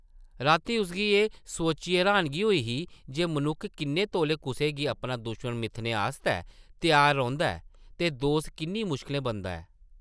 रातीं उसगी एह् सोचियै र्हानगी होई ही जे मनुक्ख किन्ने तौले कुसै गी अपना दुश्मन मिथने आस्तै त्यार रौंह्दा ऐ ते दोस्त किन्नी मुश्कलें बनदा ऐ ।